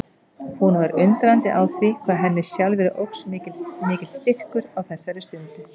Hún var undrandi á því hvað henni sjálfri óx mikill styrkur á þessari stundu.